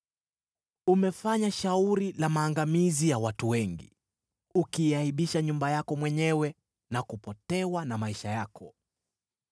Umefanya shauri la maangamizi ya watu wengi, ukiaibisha nyumba yako mwenyewe, na kupotewa na maisha yako.